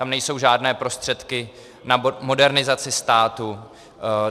Tam nejsou žádné prostředky na modernizaci státu.